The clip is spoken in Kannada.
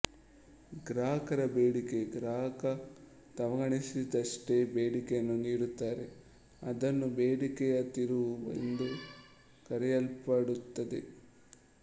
ಗ್ರಾಹಕರ ಬೇಡಿಕೆ ಗ್ರಾಹಕ ತಮಗನಿಸಿದ್ದಷ್ಟೇ ಬೇಡಿಕೆಯನ್ನು ನೀಡುತ್ತಾರೆ ಅದನ್ನು ಬೇಡಿಕೆಯ ತಿರುವು ಎಂದು ಕರೆಯಲ್ಪಡುತ್ತದೆ